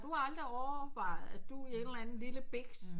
Du har aldrig overvejet at du i en eller anden lille biks